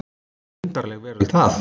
Undarleg veröld það.